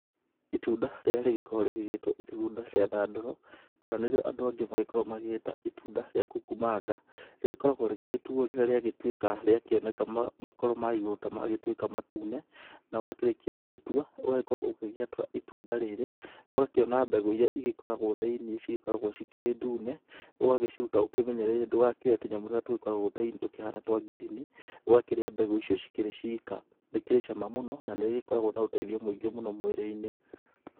Itunda rĩrĩa rĩkoragwo rĩgĩtwa itunda rĩa thandũro kana nĩrĩo andũ angĩ makoragwa magĩta itunda rĩa kukumanga, rĩgĩkoragwa rĩgĩgĩtuo rĩrĩa rĩagĩtuĩka rĩgakĩoneka makoro ma igurũ tamagĩtuĩka matune na wakĩrĩkia gũgĩtua, ũgagĩkorwa ũkĩrĩa itunda rĩrĩ ,ũgakĩona mbegũ iria ĩgĩkoragwo thĩinĩ, cigĩkoragwo cikĩrĩ ndune, ũgagĩciruta ũkĩmenyereire ndũgakĩoye tũnyamũ tũrĩa tũkoragwo thĩinĩ tũhana twa ngirini, ũakĩrĩa mbegũ icio cikĩrĩ cĩka nĩikĩrĩ cama mũno na ĩgĩkoragwa na ũteithio mũingĩ mũno mwĩrĩinĩ.